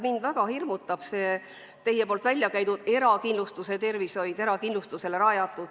Mind väga hirmutab teie väljakäidud erakindlustuse mõte tervishoius.